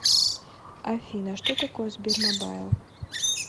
афина что такое сбермобайл